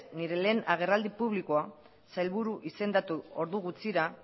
nire lehen agerraldi publikoa sailburu izendatu ordu gutxira